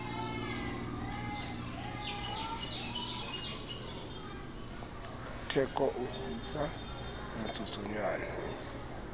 ka theko o kgutsa motsotswana